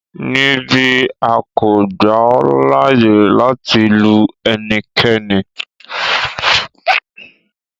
Nibi, a ko gba ọ laaye lati lu ẹnikẹni